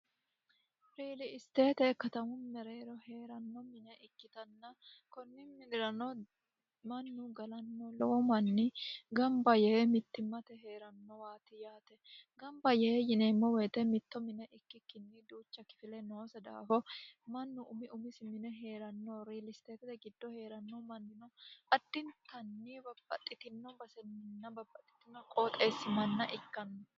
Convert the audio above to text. riili isteete katamu mereero hee'ranno mine ikkitanna kunni midirano mannu galanno lowo manni gamba yee mittimmate heerannowati yaate gamba yee yineemmo woyite mitto mine ikkikkinni duucha kifile noose daafo mannu umi umisi mine heeranno riilisteetete giddo heeranno mannino adinitanni babbaxxitino baseminna babbaxxitino qooxeessi manna ikkanno